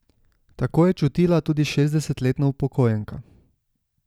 Tako je čutila tudi šestdesetletna upokojenka.